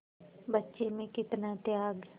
बच्चे में कितना त्याग